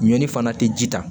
Ɲɔni fana tɛ ji ta